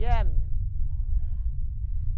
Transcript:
O que é menina?